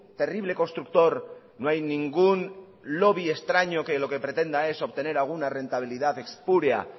terrible constructor no hay ningún lobby extraño que lo que pretenda es obtener alguna rentabilidad espúrea